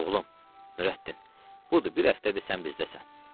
Oğlum Nurəddin, budur bir həftədir sən bizdəsən.